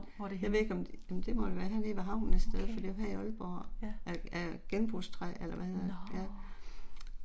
Jeg ved ikke om, jamen det må da være her nede ved havnen et sted for det er her i Aalborg. Af af genbrugstræ eller hvad hedder det, ja